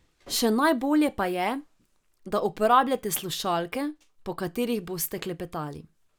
Še najbolje pa je, da uporabljate slušalke, po katerih boste klepetali.